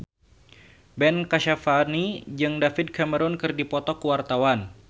Ben Kasyafani jeung David Cameron keur dipoto ku wartawan